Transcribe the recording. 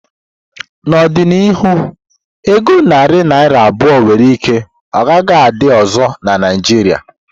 N'ọdịnihu, ego narị naira abụọ nwere ike ọ gaghị adị ọzọ na Naijiria.